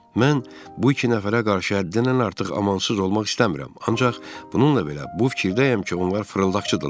Mən bu iki nəfərə qarşı həddənən artıq amansız olmaq istəmirəm, ancaq bununla belə bu fikirdəyəm ki, onlar fırıldaqçıdırlar.